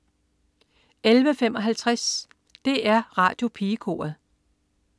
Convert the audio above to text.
11.55 DR Radiopigekoret